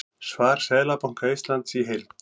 Svar Seðlabanka Íslands í heild